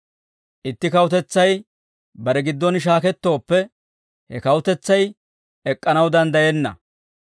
Itti kawutetsay bare giddon shaakettooppe, he kawutetsay ek'k'anaw danddayenna;